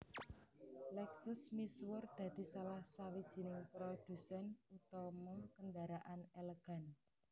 Lexus misuwur dadi salah sawijining prodhusèn utama kendaraan elegan